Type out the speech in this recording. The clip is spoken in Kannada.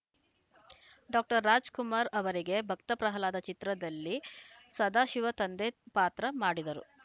ಡಾಕ್ಟರ್ ರಾಜ್‌ಕುಮಾರ್‌ ಅವರಿಗೆ ಭಕ್ತ ಪ್ರಹ್ಲಾದ ಚಿತ್ರದಲ್ಲಿ ಸದಾಶಿವ ತಂದೆ ಪಾತ್ರ ಮಾಡಿದರು